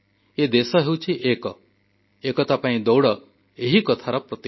ଏ ଦେଶ ହେଉଛି ଏକ ଏକତା ପାଇଁ ଦୌଡ଼ ଏହାର ପ୍ରତୀକ